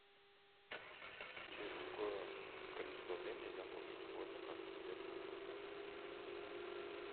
через какое количество времени я получу свой заказ себе в номер в отеле